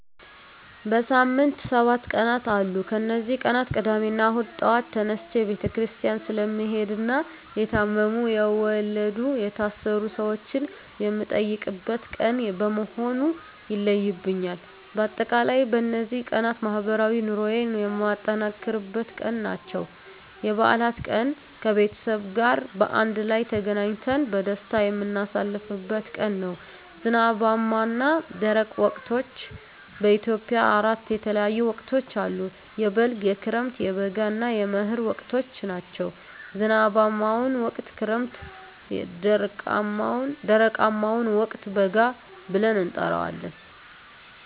በሳምንት ሰባት ቀናት አሉ ከነዚህ ቀናት ቅዳሜና እሁድ ጧት ተነስቸ ቤተክርስቲያን ስለምሄድና የታመሙ፣ የወለዱ፣ የታሰሩ ሰወችን የምጠይቅበት ቀን በመሆኑ ይለዩብኛል። በአጠቃላይ በነዚህ ቀናት ማህበራዊ ኑሮየን የማጠናክርበት ቀን ናቸው። *የበዓላት ቀን፦ ከቤተሰብ ጋር በአንድ ላይ ተገናኝተን በደስታ የምናሳልፍበት ቀን ነው። *ዝናባማና ደረቅ ወቅቶች፦ በኢትዮጵያ አራት የተለያዩ ወቅቶች አሉ፤ የበልግ፣ የክረምት፣ የበጋ እና የመህር ወቅቶች ናቸው። *ዝናባማውን ወቅት ክረምት *ደረቃማውን ወቅት በጋ ብለን እንጠራዋለን።